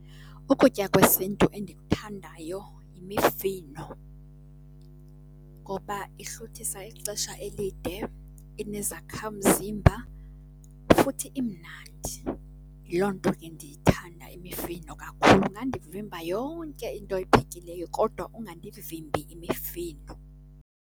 Ukutya kwesiNtu endikuthandayo yimifino ngoba ihluthisa ixesha elide, inezakhamzimba futhi imnandi. Yiloo nto ke ndiyithanda imifino kakhulu. Ungandivimba yonke into oyiphekileyo kodwa ungandivimbi imifino.